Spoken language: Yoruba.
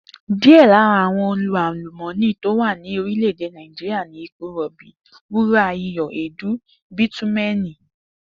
Díè̩ lára àwo̩n ohun àlùmó̩nì tó wà ní orílè̩-èdè Nàìjíríà ni epo rò̩bi, wúrà, iyò̩, èédú bítúmé̩è̩nì